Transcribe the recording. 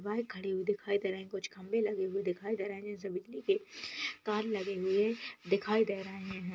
Bike खड़ी हुई दिखाई दे रहे हैं कुछ खंबे लगे हुए दिखाई दे रहे हैं जिनसे बिजली के तार लगे हुए दिखाई दे रहे हैं।